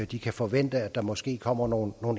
de kan forvente at der måske kommer nogle